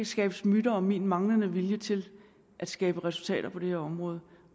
skabes myter om min manglende vilje til at skabe resultater på det her område